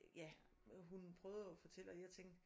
Ja hun prøvede jo at fortælle og jeg tænkte